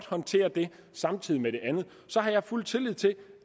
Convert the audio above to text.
håndtere det samtidig med det andet har jeg fuld tillid til